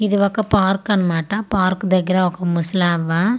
ఇది ఒక పార్కు అనమాట పార్కు దగ్గర ఒక ముసలి అవ్వ--